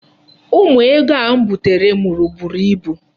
Ụmụ ego a m butere mụrụ buru ibu.